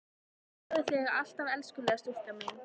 Ég þrái þig alt af elskulega stúlkan mín.